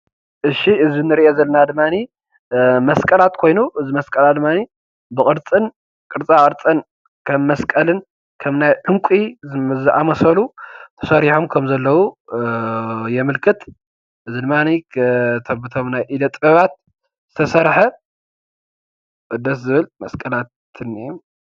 እዚ ምስሊ እዚ እንሪኦ ዘለና ድማ መስቀላት ኮይኑ፣ እዚ መስቀላት ድማ ብቅርፅን ቅርፃ ቅርፅን ከም መስቀልን ከም ናይ ዕንቂ ዝአመሰሉ ተስሪሖም ከም ዘለው የመልክት። እዚ ድማ በዞም ኢደ ጥበባት ዝተሰርሐ ደስ ዝብል መስቀላት አሎ።